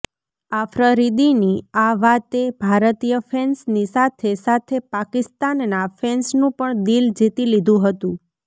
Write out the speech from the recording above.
આફ્રરીદીની આ વાતે ભારતીય ફેન્સની સાથે સાથે પાકિસ્તાનના ફેન્સનું પણ દિલ જીતી લીધુ હતું